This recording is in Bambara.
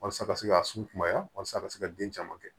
Walasa a ka se ka sunbaya walasa a ka se ka den caman kɛ